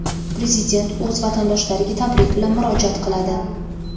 Prezident o‘z vatandoshlariga tabrik bilan murojaat qiladi.